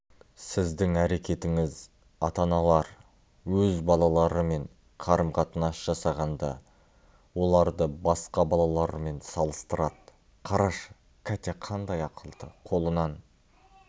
сіздің әрекетіңіз ата-аналар өз балаларымен қарым-қатынас жасағанда оларды басқа балалармен салыстырады қарашы катя қандай ақылды қолынан